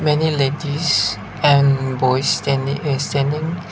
many ladies and boys standing is standing.